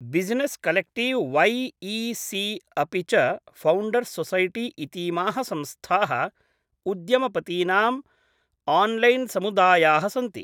Business collective Y E C अपि च founders society इतीमाः संस्थाः उद्यमपतीनाम् आन्लैन्समुदायाः सन्ति।